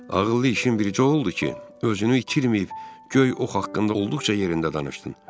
Ağıllı işin birici oldu ki, özünü itirməyib göy ox haqqında olduqca yerində danışdın.